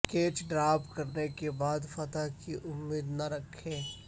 catch drop کرنے کے بعد فتح کی امید نہ رکھیں